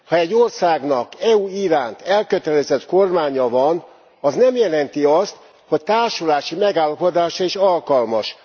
Ha egy országnak az EU iránt elkötelezett kormánya van, az nem jelenti azt, hogy társulási megállapodásra is alkalmas.